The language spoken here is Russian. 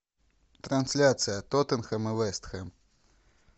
трансляция тоттенхэм и вест хэм